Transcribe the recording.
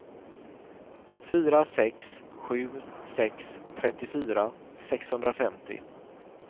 fyra sex sju sex trettiofyra sexhundrafemtio